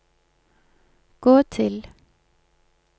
gå til